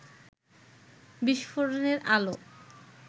বিস্ফোরণের আলো